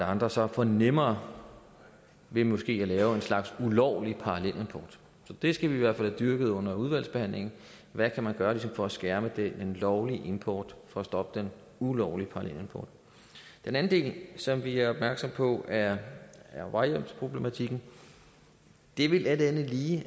andre så får nemmere ved måske at lave en slags ulovlig parallelimport så det skal vi i hvert fald have dyrket under udvalgsbehandlingen hvad kan man gøre for ligesom at skærme den lovlige import og for at stoppe den ulovlige parallelimport en anden del som vi er opmærksomme på er vejhjælpsproblematikken det vil alt andet lige